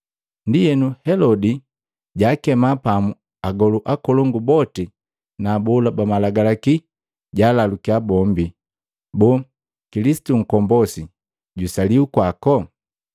Ndienu Helodi, jaakema pamu agolu akolongu boti na abola ba malagalaki jalalukiya bombi, “Boo, Kilisitu Nkombosi jwisaliwa kwako?”